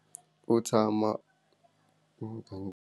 U tshama .